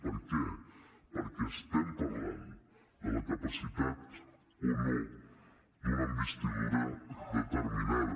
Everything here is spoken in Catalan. per què perquè estem parlant de la capacitat o no d’una investidura determinada